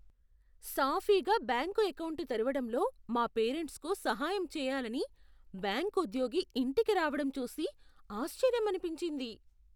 సాఫీగా bank account తెరవడంలో మా పేరెంట్స్కు సహాయం చేయాలని బ్యాంకు ఉద్యోగి ఇంటికి రావడం చూసి ఆశ్చర్యమనిపించింది.